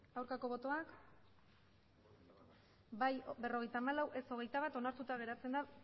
aurkako botoak emandako botoak hirurogeita hamabost bai berrogeita hamalau ez hogeita bat onartuta geratzen da